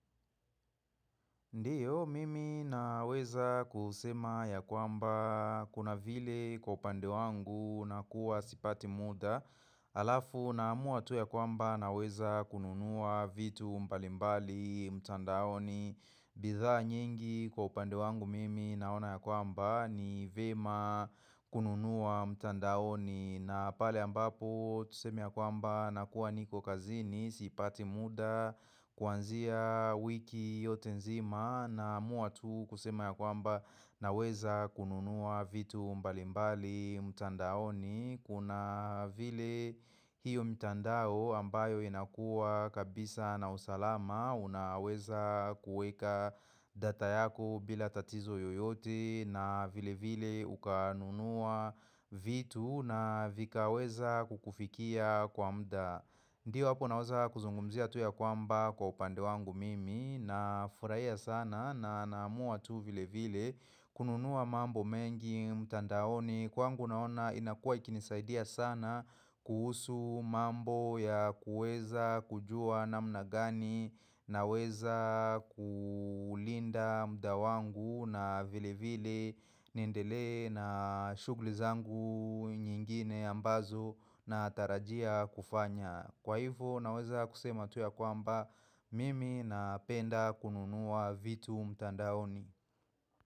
Ndiyo, mimi naweza kusema ya kwamba kuna vile kwa upande wangu na kuwa sipati muda Alafu namua tu ya kwamba naweza kununua vitu mbalimbali, mtandaoni bidha nyingi kwa upande wangu mimi naona ya kwamba ni vyema kununua mtandaoni na pale ambapo tuseme ya kwamba nakuwa niko kazini, sipati muda kuanzia wiki yote nzima namua tu kusema ya kwamba naweza kununua vitu mbalimbali mtandaoni kuna vile hiyo mtandao ambayo inakua kabisa na usalama unaweza kuweka data yako bila tatizo yoyote na vile vile ukanunua vitu na vikaweza kukufikia kwa muda Ndiyo hapo naweza kuzungumzia tu ya kwamba kwa upande wangu mimi na furahia sana na namua tu vile vile kununua mambo mengi mtandaoni kwangu naona inakua ikinisaidia sana kuhusu mambo ya kueza kujua namna gani naweza kulinda muda wangu na vile vile niendelee na shughuli zangu nyingine ambazo natarajia kufanya. Kwa hivyo naweza kusema tu ya kwamba mimi napenda kununua vitu mtandaoni.